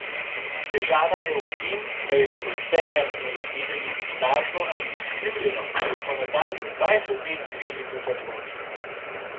Težava je v tem, da je bilo vse, kar smo izvedeli, lažno ali izkrivljeno in smo nadaljnjih dvajset let živeli v zablodi.